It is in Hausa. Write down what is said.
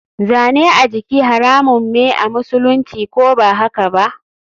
Zane a jiki haramun me amusulunci, ko bahakaba?